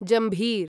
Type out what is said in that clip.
जम्भीर